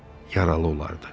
Yaralı olardı.